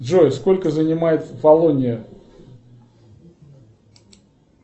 джой сколько занимает фалония